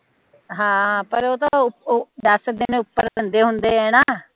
ਹਮ ਪਰ ਉਹ ਤਾ ਦਾਸ ਦਿਨ ਉਪਰ ਦੰਦੇ ਹੁੰਦੇ ਆ ਨਾ